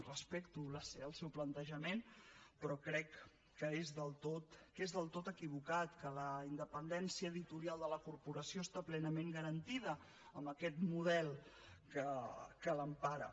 respecto el seu plantejament però crec que és del tot equivocat que la independència editorial de la corporació està plenament garantida amb aquest model que l’empara